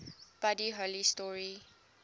buddy holly story